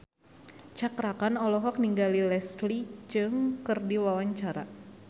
Cakra Khan olohok ningali Leslie Cheung keur diwawancara